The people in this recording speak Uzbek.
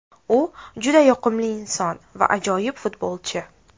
U juda yoqimli inson va ajoyib futbolchi.